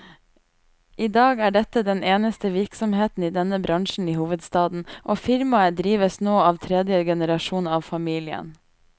I dag er dette den eneste virksomheten i denne bransjen i hovedstaden, og firmaet drives nå av tredje generasjon av familien.